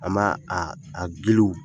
A ma a